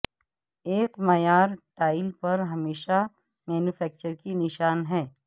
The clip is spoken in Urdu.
ایک معیار ٹائل پر ہمیشہ مینوفیکچرر کی نشان ہے